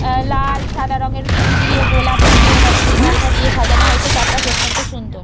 আহ লালসাদা রঙের ফুল দিয়ে গোলাপ দিয়েরজনীগন্ধা দিয়ে সাজানো হয়েছে চারপাশ অত্যন্ত সুন্দর।